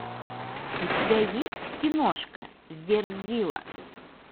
у тебя есть киношка верзила